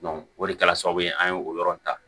o de kɛra sababu ye an ye o yɔrɔ in ta